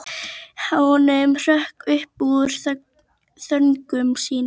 Hann hrökk upp úr þönkum sínum.